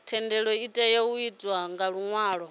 thendelo itea u itwa nga luṅwalo